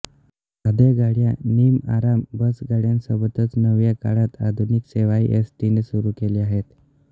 साध्या गाड्या निमआराम बसगाड्यांसोबतच नव्या काळात आधुनिक सेवाही एसटीने सुरू केल्या आहेत